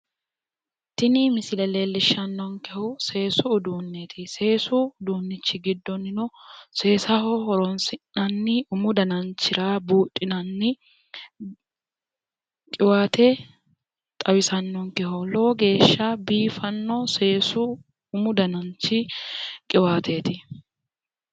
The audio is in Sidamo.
tini misile leellishshannonkehuno seesu usuunneeti seesu uduunni giddono seesaho horonsi'nanni umoho dananchira buudhinanni qiwaate xawisannonkeho lowo geeshsha biifanno umu dananchi qiwaateeti.